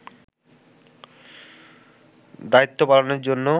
দায়িত্ব পালনের জন্য